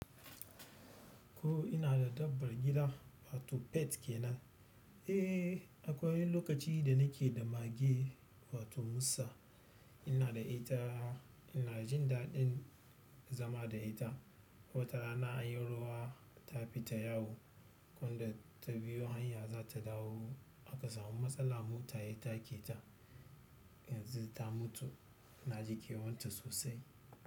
Ko ina da dabbar gida wato pet kenan. Eh akwai wani lokaci da nake da mage wato Musa. Ina da ita, ina jin daɗin zama da ita. Wata rana an yi ruwa ta fi ta yawo, kuma da ta biyo hanya za ta dawo aka samu matsala mota ya take ta. Yanzu ta mutu. Na ji kewan ta sosai.